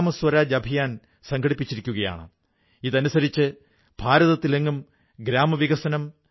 അതുൽജിയും അദ്ദേഹത്തിന്റെ ടീമും കർഷകരെ സാങ്കേതികമായി ജാഗരൂകരാക്കുകയാണ് ഓൺലൈൻ പേമന്റും കച്ചവടവും പഠിപ്പിക്കയാണ്